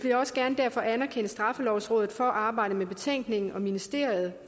derfor anerkende straffelovrådet for arbejdet med betænkningen og ministeriet